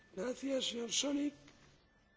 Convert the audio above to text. Herr Präsident, liebe Kolleginnen und Kollegen!